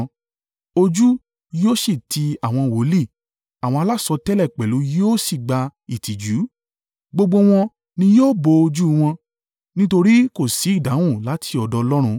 Ojú yóò sì ti àwọn wòlíì àwọn alásọtẹ́lẹ̀ pẹ̀lú yóò sì gba ìtìjú. Gbogbo wọn ni yóò bo ojú wọn, nítorí kò sí ìdáhùn láti ọ̀dọ̀ Ọlọ́run.”